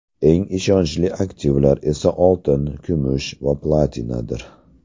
Eng ishonchli aktivlar esa oltin, kumush va platinadir.